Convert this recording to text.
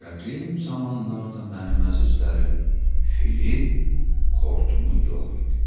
Qədim zamanlarda mənim əzizlərim, filin xortumu yox idi.